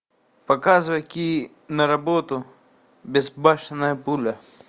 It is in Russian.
показывай киноработу безбашенная пуля